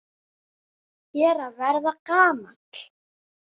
Ég er að verða gamall.